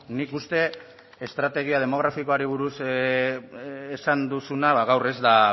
nik uste estrategia demografikoari buruz esan duzuna ba gaur ez da